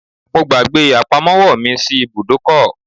I forgot my purse at the garage